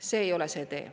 See ei ole see tee.